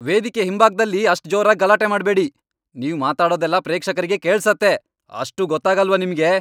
ವೇದಿಕೆ ಹಿಂಭಾಗ್ದಲ್ಲಿ ಅಷ್ಟ್ ಜೋರಾಗ್ ಗಲಾಟೆ ಮಾಡ್ಬೇಡಿ. ನೀವ್ ಮಾತಾಡೋದೆಲ್ಲ ಪ್ರೇಕ್ಷಕರಿಗೆ ಕೇಳ್ಸತ್ತೆ. ಅಷ್ಟೂ ಗೊತ್ತಾಗಲ್ವಾ ನಿಮ್ಗೆ!